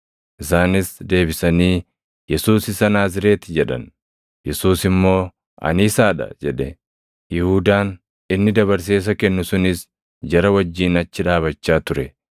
Isaanis deebisanii, “Yesuus isa Naazreeti” jedhan. Yesuus immoo, “Ani isaa dha” jedhe. Yihuudaan inni dabarsee isa kennu sunis jara wajjin achi dhaabachaa ture.